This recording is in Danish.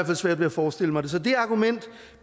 fald svært ved at forestille mig det så det argument